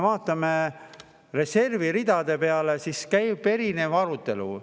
Vaatame reservi ridu, nende üle käib arutelu.